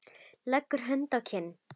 Leggur hönd að kinn.